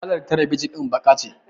Kalar talebijin din baƙa ce.